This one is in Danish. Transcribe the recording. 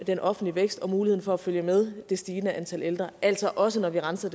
den offentlige vækst og muligheden for at følge med det stigende antal ældre altså også når vi renser